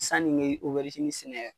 Sanni n kɛ sɛnɛ.